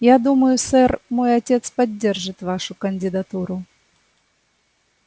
я думаю сэр мой отец поддержит вашу кандидатуру